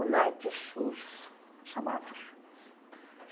O Night Shoes, chamava.